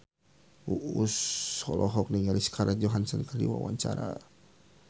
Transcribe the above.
Uus olohok ningali Scarlett Johansson keur diwawancara